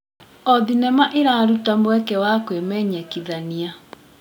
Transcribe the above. O thenema ĩraruta mweke wa kwĩmenyekithania.